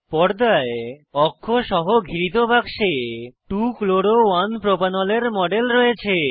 পর্দায় অক্ষ সহ ঘিরিত বাক্সে 2 chloro 1 প্রোপানল এর মডেল রয়েছে